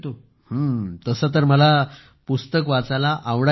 हं तसं तर मला पुस्तक वाचायला आवडायचं